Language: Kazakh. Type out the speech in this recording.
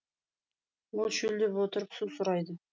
ол шөлдеп отыр су сұрайды